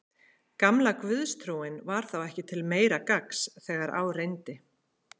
Gamla guðstrúin var þá ekki til meira gagns þegar á reyndi.